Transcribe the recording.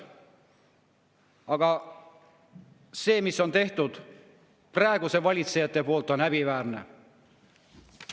Aga see, mis on tehtud praeguste valitsejate poolt, on häbiväärne.